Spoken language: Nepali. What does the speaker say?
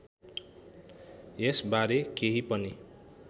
यस बारे केही पनि